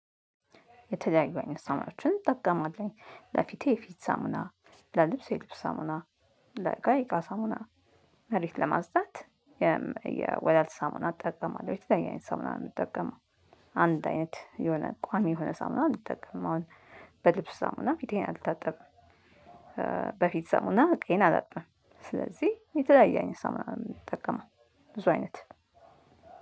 የተለያዩ አይነት ሳሙናዎችን እንጠቀማለን ለፊቴ የፊት ሳሙና ለልብሴ የልብስ ሳሙና ለእቃ የእቃ ሳሙና መሬት ለማጽዳት። የወለል ሳሙና እጠቀማለሁ የተለያየ አይነት ሳሙና ምጠቀምው። አንድ አይነት የሆነ ቋሚ የሆነ ሳሙና አልጠቀምም አሁን። በልብስ ሳሙና እና ፊቴን አልታጠብም። በፊት ሳሙና ዕቃዬን አላጥብም። ስለዚህ የተለያየ አይነት ሳሙና ምንጠቀመው። ብዙ አይነት